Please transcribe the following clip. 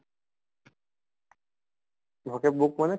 vocab book মানে